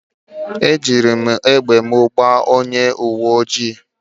Eji m egbe m gbaa onye uwe ojii